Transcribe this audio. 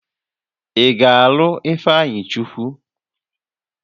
Ị ga-alụ Ifeanyịchukwu?